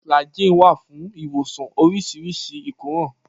Flagy wà fún ìwòsàn oríṣiríṣi ìkóràn.